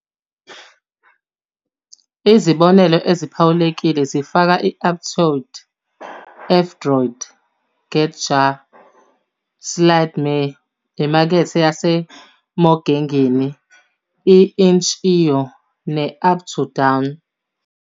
Izibonelo eziphawulekile zifaka i-Aptoide, F-Droid, GetJar, slide ME, iMakethe yaseMogengen, i-Itch.io, ne-Uptodown.